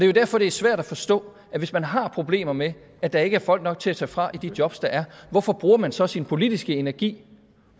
jo derfor det er svært at forstå at hvis man har problemer med at der ikke er folk nok til at tage fra i de jobs der er hvorfor bruger man så sin politiske energi